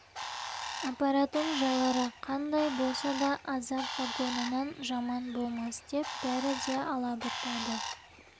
апаратын жайлары қандай болса да азап вагонынан жаман болмас деп бәрі де алабұртады